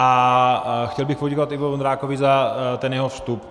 A chtěl bych poděkovat Ivo Vondrákovi za ten jeho vstup.